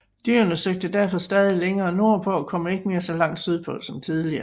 Dyrene søgte derfor stadig længere nordpå og kom ikke mere så langt sydpå som tidligere